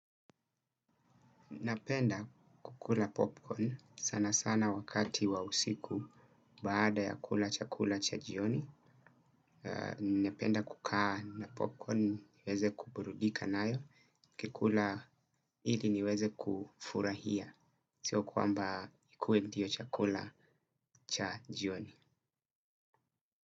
Napenda kukula popcorn sana sana wakati wa usiku baada ya kula chakula cha jioni. Napenda kukaa na popcorn niweze kuburudika nayo. Nikikula ili niweze kufurahia. Sio kwamba ikue ndio chakula cha jioni.